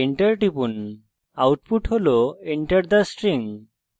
enter টিপুন এটি enter the string হিসাবে প্রদর্শিত হয়